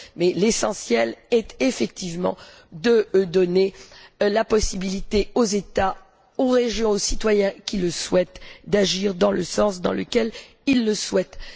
Mais l'essentiel est, effectivement, de donner la possibilité aux États, aux régions et aux citoyens qui le souhaitent d'agir dans le sens dans lequel ils le souhaitent.